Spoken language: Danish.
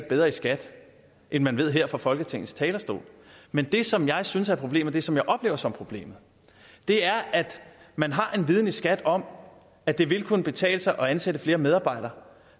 bedre i skat end man ved her fra folketingets talerstol men det som jeg synes er problemet og som jeg oplever som problemet er at man har en viden i skat om at det vil kunne betale sig at ansætte flere medarbejdere